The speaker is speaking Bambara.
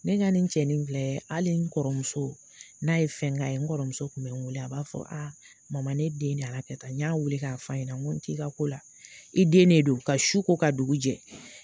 Ne ka nin cɛnin filɛ hali n kɔrɔmuso, n'a ye fɛn k'a ye n kɔrɔmuso kun bɛ wele, a b'a fɔ mama ne den a ka kɛ tan, n y'a wele k'a f'a ɲɛna, n ko t'i ka ko la. I den de don, ka su ko, ka dugu jɛ.